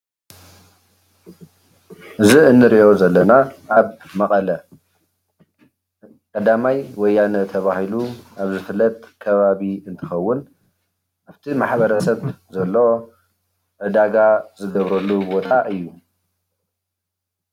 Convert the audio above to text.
እዚ እንሪኦ ዘለና ኣብ መቀለ ቀዳማይ ወያነ ተባሂሉ ኣብ ዝፍለጥ ከባቢ እንትኸውን ኣፍቲ ማሕበረሰብ ዘሎ ዕዳጋ ዝገብረሉ ቦታ እዩ።